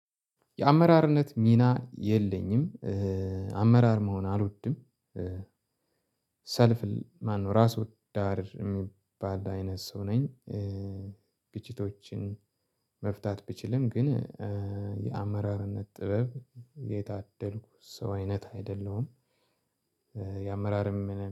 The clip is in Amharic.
የአመራርነት ሚና የለኝም አመራር መሆን አልወድም። ሰልፍ ማነው ራሱ ዳር የሚባል አይነት ሰው ነኝ። ግችቶችን መፍታት ብችልም ግን የአመራርነት ጥበብ የታደልኩ ሰው አይነት አይደለሁም። የአመራርም